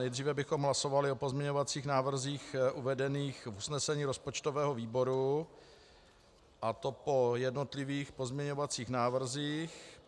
Nejdříve bychom hlasovali o pozměňovacích návrzích uvedených v usnesení rozpočtového výboru, a to po jednotlivých pozměňovacích návrzích.